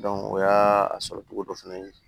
o y'a sɔrɔ togo dɔ fɛnɛ ye